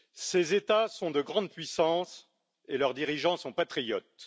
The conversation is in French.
Ces États sont de grandes puissances et leurs dirigeants sont patriotes.